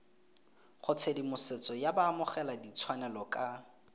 go tshedimosetso ya baamogeladitshwanelo ka